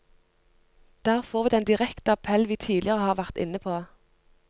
Der får vi den direkte appell vi tidligere har vært inne på.